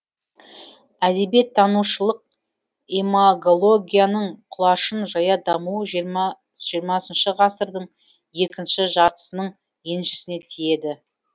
әдебиеттанушылық имагологияның құлашын жая дамуы жиырмасыншы ғасырдың екінші жартысының еншісіне тиеді